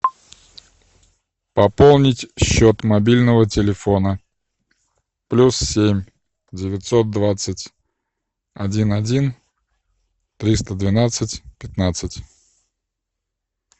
пополнить счет мобильного телефона плюс семь девятьсот двадцать один один триста двенадцать пятнадцать